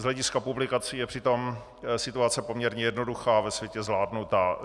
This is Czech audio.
Z hlediska publikací je přitom situace poměrně jednoduchá a ve světě zvládnutá.